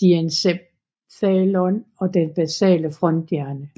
diencephalon og den basale fronthjerne